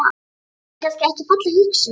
Er það kannski ekki falleg hugsjón?